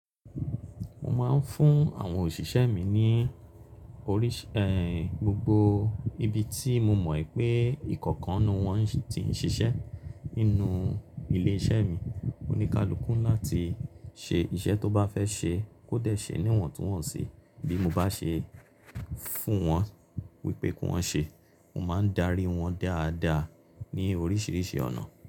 Mo máa ń fún àwọn òṣìṣẹ́ mi ní oríṣì, gbogbo ibi tí mo mọ̀ pé ìkọ̀kan nínú wọn ti ń ṣiṣẹ́ nínú ilé iṣẹ́ mi. Oní kalùkù ńlá ti ṣe iṣẹ́ tó bá fẹ́ ṣe kó dẹ̀ ṣe níwọ̀n tí wọ́n sì bí mo bá ṣe fún wọn wípé kí wọ́n ṣe, mo máa ń darí wọn dáadáa ní oríṣiríṣi ọ̀nà.